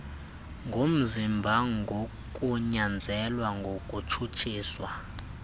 ngomzimba ngokunyanzelwa ukutshutshiswa